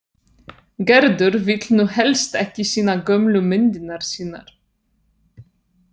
Gerður vill nú helst ekki sýna gömlu myndirnar sínar.